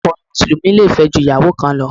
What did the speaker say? Àwọn ọkùnrin Mùsùlùmí le fẹ́ ju ìyàwó kan lọ.